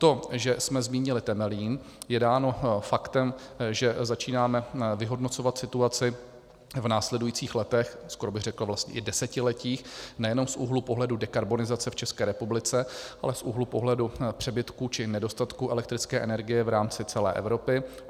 To, že jsme zmínili Temelín, je dáno faktem, že začínáme vyhodnocovat situaci v následujících letech, skoro bych řekl vlastně i desetiletích, nejenom z úhlu pohledu dekarbonizace v České republice, ale z úhlu pohledu přebytku či nedostatku elektrické energie v rámci celé Evropy.